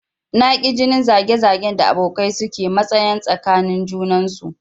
Na ki jinin zage zagen da abokai su ke masanya tsakanin junansu